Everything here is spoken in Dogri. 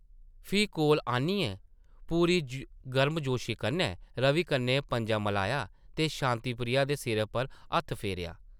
फ्ही कोल आनियै पूरी गर्मजोशी कन्नै रवि कन्नै पंजा मलाया ते शांति प्रिया दे सिरै पर हत्थ फेरेआ ।